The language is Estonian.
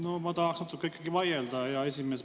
No ma tahaks natuke ikkagi vaielda, hea esimees.